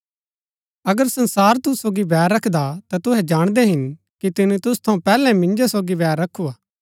अगर संसार तुसु सोगी बैर रखदा ता तुहै जाणदै हिन कि तिनी तुसु थऊँ पैहलै मिन्जो सोगी बैर रखू हा